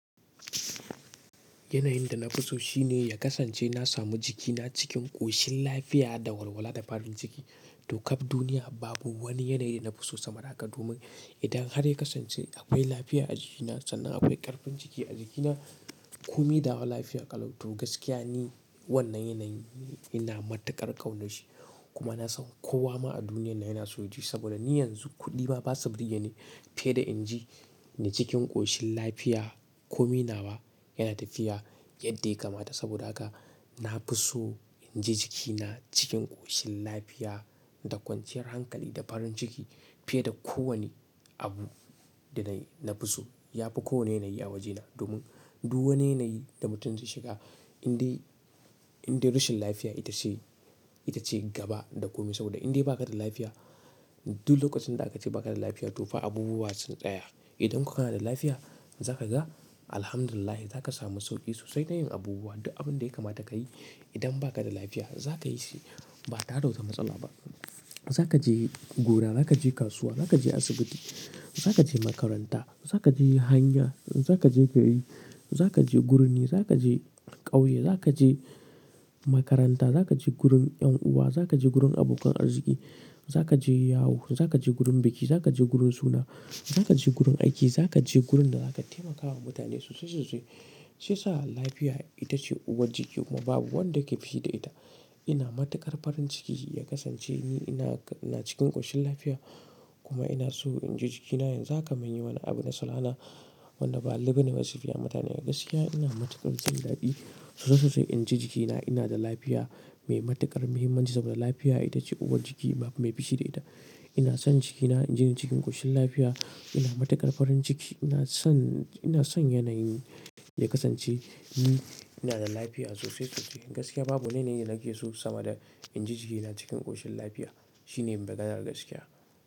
Yanayin da na fi so shine ya kasance na samu jikina cikin ƙoshin lafiya da walwala da farin ciki. To kaf duniya babu wani yanayi na fi so sama da haka domin idan har ya kasance akwai lafiya a jikina sannan akwai ƙarfin ciki a jikina, komi na wa lafiya ƙalau. To gaskiya ni wannan yanayin ina matuƙar ƙaunarshi kuma na san kowa ma a duniyan nan yana so yaji. Saboda ni yanzu kuɗi ma ba su burge ni fiye da in ji ni cikin ƙoshin lafiya. Komi nawa yana tafiya yadda ya kamata saboda haka na fi so in ji jikina cikin ƙoshin lafiya da kwanciyar hankali da farin ciki fiye da kowane abu da nayi, na fi so yafi kowane yanayi a wajena. Domin duk wani yanayi da mutum zai shiga indai, indai rashin lafiya ita ce, ita ce gaba da komi saboda indai bakada lafiya duk lokacin da aka ce bakada lafiya tofa abubuwa sun tsaya. Idan ko kana da lafiya zaka ga alhamdulilahi zaka samu sauki sosai na yin abubuwa duk abun da ya kamata kayi idan baka da lafiya zaka yi shi ba tare da wata matsala ba. Zaka je gona, zaka je kasuwa, zaka je asibiti, zaka je makaranta, zaka je hanya, zaka je gona, zaka je birni, zaka je ƙauye, zaka je makaranta, zaka je gurin ƴan uwa, zaka je gurin abokan arziki, zaka je yawo, zaka je gurin biki, zaka je gurin suna, zaka je gurin aiki, zaka je gurin da zaka taimaka wa mutane sosai sosai, shi yasa lafiya itace uwar jiki kuma babu wanda yake fushi da ita. Ina matuƙar farin ciki ya kasance ni ina, ina cikin ƙoshin lafiya kuma ina so in ji jikina yanzu haka mun yi wani abu na salala wanda ba a lullube wasufiya mutane. Gaskiya ina matuƙar jin daɗi sosai sosai in ji jikina ina da lafiya mai matuƙar muhimmanci saboda lafiya ita ce uwar jiki babu mai fushi da ita. Ina son jikina in ji ni cikin ƙoshin lafiya. Ina matuƙar farin ciki. Ina son, ina son yanayin ya kasance ni ina da lafiya sosai sosai. Gaskiya babu wani yanayi da nake so sama da in ji jikina cikin ƙoshin lafiya shine maganar gaskiya.